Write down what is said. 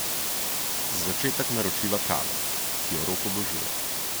Za začetek naročiva kavo, ki jo Rok obožuje.